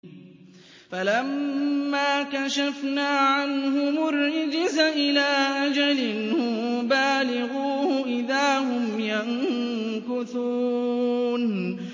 فَلَمَّا كَشَفْنَا عَنْهُمُ الرِّجْزَ إِلَىٰ أَجَلٍ هُم بَالِغُوهُ إِذَا هُمْ يَنكُثُونَ